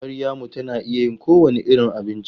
Maryamu tana iya yin kowane irin abinci.